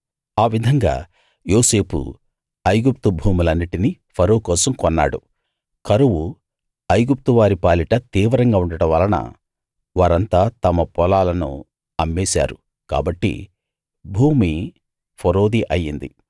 ఆవిధంగా యోసేపు ఐగుప్తు భూములన్నిటినీ ఫరో కోసం కొన్నాడు కరువు ఇగుప్తు వారిపాలిట తీవ్రంగా ఉండడం వలన వారంతా తమ పొలాలను అమ్మేశారు కాబట్టి భూమి ఫరోది అయింది